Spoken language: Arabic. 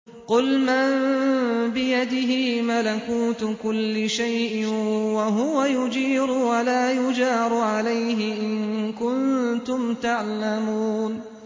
قُلْ مَن بِيَدِهِ مَلَكُوتُ كُلِّ شَيْءٍ وَهُوَ يُجِيرُ وَلَا يُجَارُ عَلَيْهِ إِن كُنتُمْ تَعْلَمُونَ